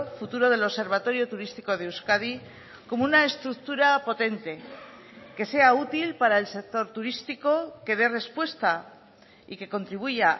futuro del observatorio turístico de euskadi como una estructura potente que sea útil para el sector turístico que dé respuesta y que contribuya